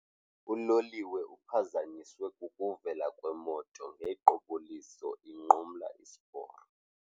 Uloliwe uphazanyiswe kukuvela kwemoto ngequbuliso inqumla isiporo.